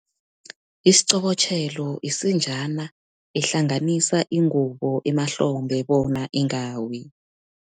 Isiqobotjhelo, isinjana ehlanganisa ingubo emahlombe, bona ingawi.